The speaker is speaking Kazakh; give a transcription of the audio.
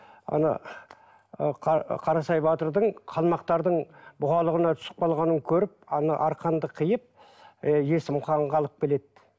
ана ы қарасай батырдың қалмақтардың бұғалығына түсіп қалғанын көріп ана арқанды қиып ы есім ханға алып келеді